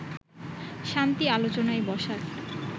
শান্তি আলোচনায় বসার